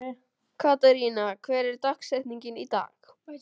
Katharina, hver er dagsetningin í dag?